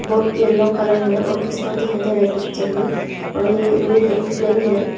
और yellow colour है और पिस्तौल दिखाई दे रहा पिक्चर में और ये है।